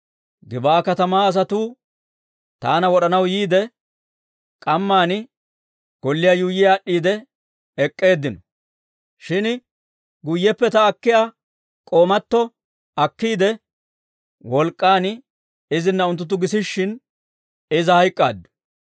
Gib'aa katamaa asatuu taana wod'anaw yiide, k'amma golliyaa yuuyyi aad'd'iide ek'k'eeddinno; shin guyyeppe ta k'oomatto akkiide, wolk'k'aan izinna unttunttu gisishshin, iza hayk'k'aaddu.